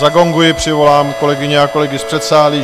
Zagonguji, přivolám kolegyně a kolegy z předsálí.